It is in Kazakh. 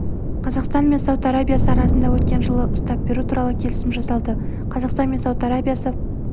қазақстан мен сауд арабиясы арасында өткен жылы ұстап беру туралы келісім жасалды қазақстан мен сауд арабиясы